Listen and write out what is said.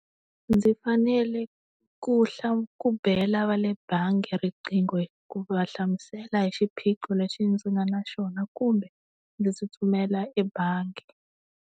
Ndzi fanele ku ku bela va le bangi riqingho ku va hlamusela hi xiphiqo lexi ndzi nga na xona kumbe, ndzi tsutsumela ebangi.